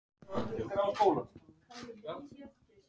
Skuldari njóti góðs af hagnaði